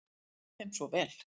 Þú nærð þeim svo vel.